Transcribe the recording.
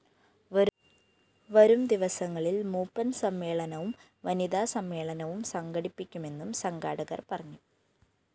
വരും ദിവസങ്ങളില്‍ മൂപ്പന്‍ സമ്മേളനവും വനിതാസമ്മേളനവും സംഘടിപ്പിക്കുമെന്നും സംഘാടകര്‍ പറഞ്ഞു